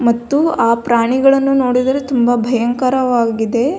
ಮತ್ತು ಆ ಪ್ರಾಣಿಗಳನ್ನು ನೋಡಿದರೆ ತುಂಬಾ ಭಯಂಕರವಾಗಿದೆ .